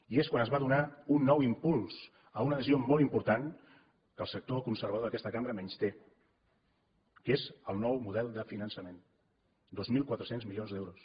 i és quan es va donar un nou impuls a una decisió molt important que el sector conservador d’aquesta cambra menysté que és el nou model de finançament dos mil quatre cents milions d’euros